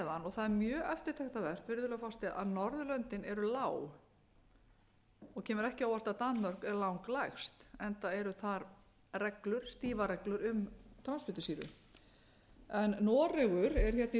að norðurlöndin eru lág og kemur ekki á óvart að danmörk er lang lægst enda eru þar reglur stífar reglur um transfitusýru noregur er hérna í